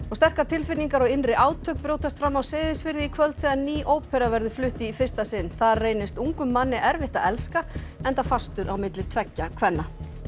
sterkar tilfinningar og innri átök brjótast fram á Seyðisfirði í kvöld þegar ný ópera verður flutt í fyrsta sinn þar reynist ungum manni erfitt að elska enda fastur á milli tveggja kvenna